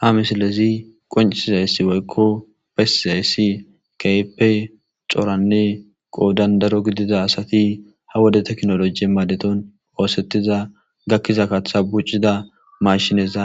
Ha misilezi qoncisizayssi woykko pessiayssi keepe xoranne qoodandaro gidida asati ha wode teknolojie maadeton poosettiza gakkiza kaththa buccida mashineza